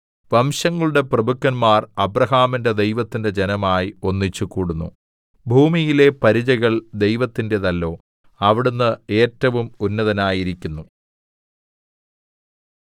വംശങ്ങളുടെ പ്രഭുക്കന്മാർ അബ്രാഹാമിന്റെ ദൈവത്തിന്റെ ജനമായി ഒന്നിച്ചുകൂടുന്നു ഭൂമിയിലെ പരിചകൾ ദൈവത്തിന്റേതല്ലോ അവിടുന്ന് ഏറ്റവും ഉന്നതനായിരിക്കുന്നു